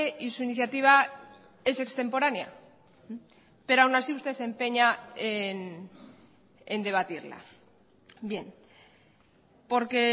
y su iniciativa es extemporánea pero aún así usted se empeña en debatirla bien porque